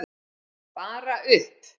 Bara upp!